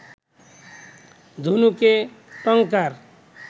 ধনুকে টঙ্কার